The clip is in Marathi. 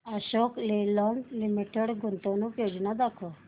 अशोक लेलँड लिमिटेड गुंतवणूक योजना दाखव